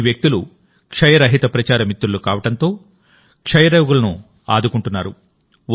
ఈ వ్యక్తులుక్షయరహిత ప్రచార మిత్రులు కావడంతో టీబీ రోగులను ఆదుకుంటున్నారు